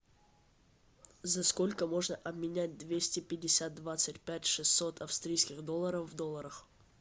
за сколько можно обменять двести пятьдесят двадцать пять шестьсот австрийских долларов в долларах